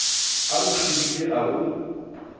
a o shobile a o